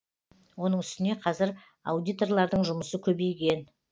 оның үстіне қазір аудиторлардың жұмысы көбейген